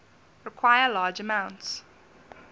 require large amounts